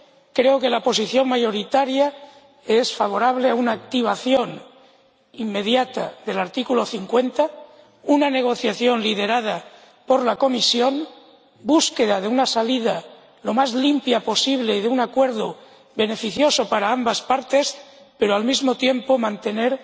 Creo que la posición mayoritaria es favorable a una activación inmediata del artículo 50, una negociación liderada por la Comisión y la búsqueda de una salida lo más limpia posible y de un acuerdo beneficioso para ambas partes, pero manteniendo al mismo tiempo que